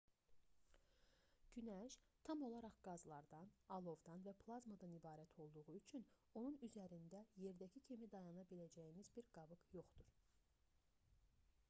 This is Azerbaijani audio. günəş tam olaraq qazlardan alovdan və plazmadan ibarət olduğu üçün onun üzərində yerdəki kimi dayana biləcəyiniz bir qabıq yoxdur